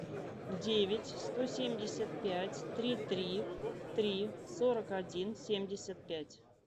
девять сто семьдесят пять три три три сорок один семьдесят пять